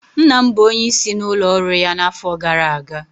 Nna m bụ onyeisi n'ụlọ ọrụ ya n'afọ gara aga